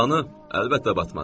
Qalanı əlbəttə batmaz.